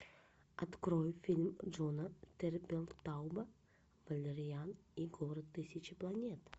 открой фильм джона тертелтауба валериан и город тысячи планет